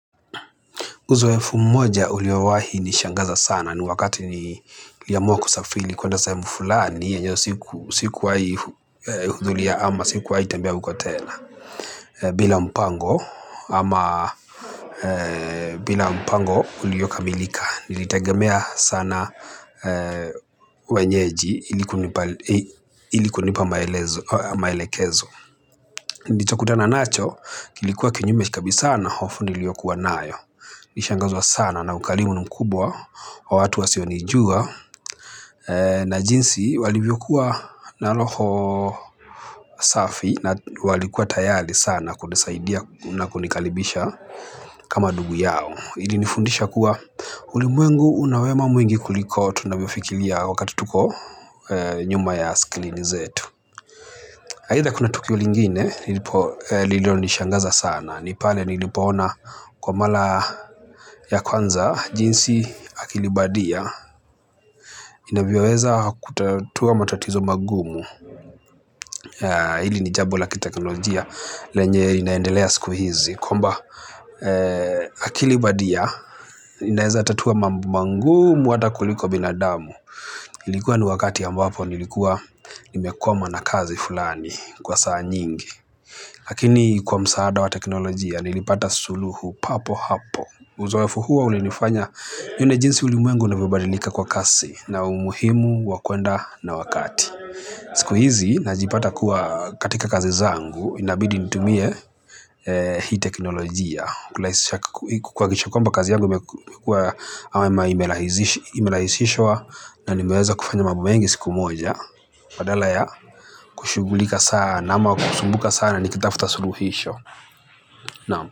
Uzoefu mmoja uliowahi nishangaza sana ni wakati ni liamua kusafili kuenda sahemu fulani yenye sikuwai hudhuria ama siku wai tembea huko tena. Bila mpango ama bila mpango uliokamilika nilitegemea sana wenyeji ili kunipa maelekezo. Nilicho kutana nacho kilikua kinyume kabisa na hofu niliyokuwa nayo. Nishangazwa sana na ukalimu mkubwa wa watu wasionijua. Na jinsi walivyokuwa na loho safi na walikuwa tayali sana kunisaidia na kunikalibisha kama dugu yao. Hili nifundisha kuwa ulimwengu unawema mwingi kuliko tunavyofikilia wakati tuko nyuma ya skilini zetu. Haitha kuna tukio lingine nilipo lililo nishangaza sana. Nipale nilipoona kwa mala ya kwanza jinsi akilibadia inavyoweza kutatua matatizo magumu. Hili ni jambo la kiteknolojia lenye linaendelea sikuhizi kwamba akili badia linaeza tatu mambo magumu hata kuliko binadamu. Ilikuwa ni wakati ambapo nilikuwa nimekwama nakazi fulani kwa saa nyingi. Lakini kwa msaada wa teknolojia nilipata suluhu papo hapo. Uzoefu huo ulinifanya yune jinsi uli mwengu unavyobadilika kwa kasi na umuhimu wakwenda na wakati. Siku hizi najipata kuwa katika kazi zangu inabidi nitumie hii teknolojia. Kulahisisha kwamba kazi yangu imelahisishwa na nimeweza kufanya mambo mengi siku moja. Badala ya kushugulika sana ama kusumbuka sana nikitafuta suluhisho.